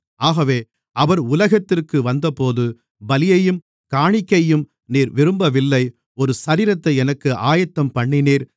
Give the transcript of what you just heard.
ஆகவே அவர் உலகத்திற்கு வந்தபோது பலியையும் காணிக்கையையும் நீர் விரும்பவில்லை ஒரு சரீரத்தை எனக்கு ஆயத்தம்பண்ணினீர்